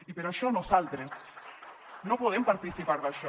i per això nosaltres no podem participar d’això